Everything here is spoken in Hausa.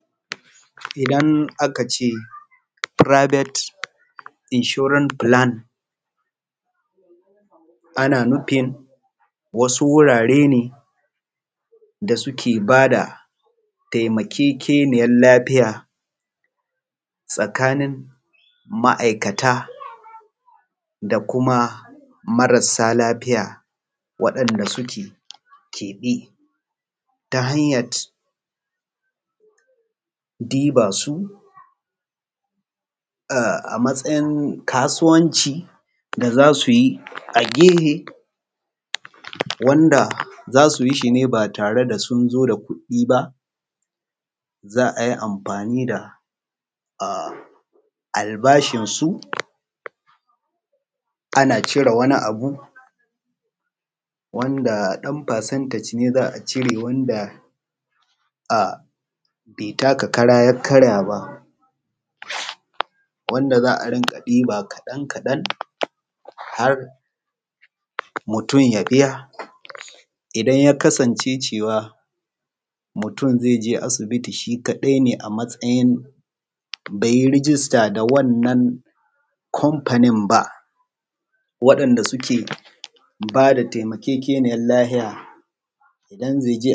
Idan aka ce fublik riakshin aut filanti shi ne idan aka tabbatar da wata cuta wadda take saurin yaɗuwa a cikin alumma a wani wuri ko kuma a wani gari za’a ɗaukan saurin ɗaukan matakin gagawa wannan matakin gaggawan da aka ɗauka shi ake cema riakshon wannan riakshon ɗin za a ɗauki saurin ɗaukan matakin gaggawa domin a tsayar da cutar daidai nan bakin inda take ba tare da bari ta sake yaɗuwa a wani wuriba ta hanyat a samar da wasu solishon santas ta hanyan bada sanarwa a cikin alumma cewa mutane su kula an samu tabbatar da faruwar wata cuta kamar irin korona za’a sanar da mutane domin